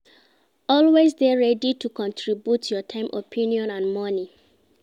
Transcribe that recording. Always de ready to contribute your time opinion and money